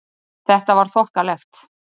Þetta var þokkalegt.